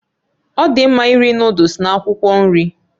Ọ dị mma iri Nụ́dúls na akwụkwọ nri